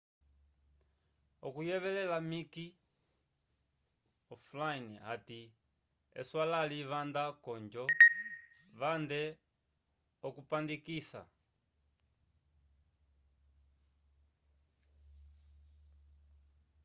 oucuyevelela mick o`flynn ati eswalali vanda ko ojo vande okupandikisa